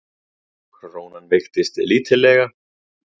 Krónan veiktist lítillega